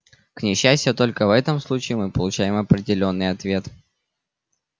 к несчастью только в этом случае мы получаем определённый ответ